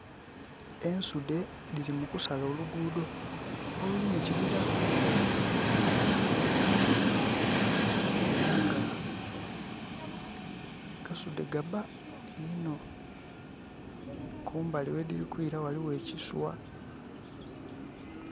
Ensudde ddiri mu kusala oluguudo oluli mu kibira era nga gasudde ga bba inho. Kumbali we ddiri kwira waliwo ekiswa